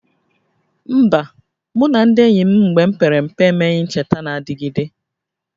Mba, mụ na ndị enyi m mgbe m pere mpe emeghị ncheta na-adịgide